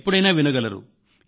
ఎప్పుడైనా వినగలరు